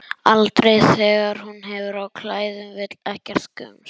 Aldrei þegar hún hefur á klæðum, vill ekkert gums.